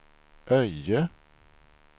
Öje